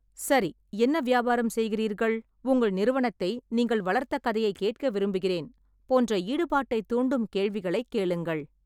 "சரி, என்ன வியாபாரம் செய்கிறீர்கள்?", "உங்கள் நிறுவனத்தை நீங்கள் வளர்த்த கதையைக் கேட்க விரும்புகிறேன்!" போன்ற ஈடுபாட்டைத் தூண்டும் கேள்விகளைக் கேளுங்கள்.